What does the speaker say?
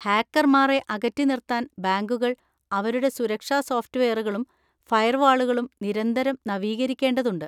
ഹാക്കർമാരെ അകറ്റി നിർത്താൻ ബാങ്കുകൾ അവരുടെ സുരക്ഷാ സോഫ്‌റ്റ്‌വെയറുകളും ഫയർവാളുകളും നിരന്തരം നവീകരിക്കേണ്ടതുണ്ട്.